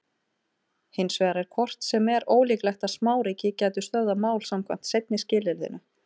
Hins vegar er hvort sem er ólíklegt að smáríki gætu stöðvað mál samkvæmt seinna skilyrðinu.